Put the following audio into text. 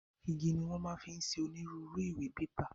Igi ni wọn máa fi ń ṣe onírúurú ìwé/pépà